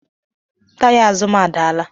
Taya azụ m adaala